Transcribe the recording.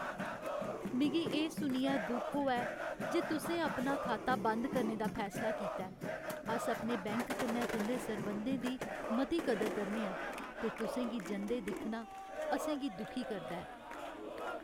मिगी एह् सुनियै दुख होआ ऐ जे तुसें अपना खाता बंद करने दा फैसला कीता ऐ। अस अपने बैंक कन्नै तुं'दे सरबंधें दी मती कदर करने आं ते तुसें गी जंदे दिक्खना असें गी दुखी करदा ऐ।